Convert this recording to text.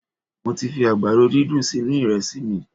Mo ti fi àgbàdo dídùn sínú iresi mi